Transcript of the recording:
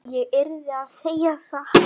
Ég yrði að segja satt.